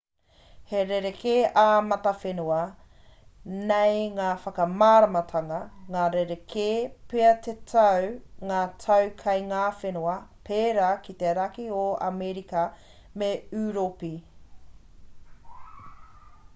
he rerekē ā-matawhenua nei ngā whakamāramatanga ka rerekē pea te tau ngā tau kei ngā whenua pērā ki te raki o amerika me ūropi